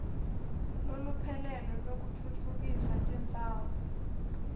loluphelele lwekutfutfukisa tindzawo